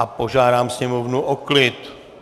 A požádám sněmovnu o klid.